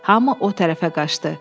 Hamı o tərəfə qaçdı.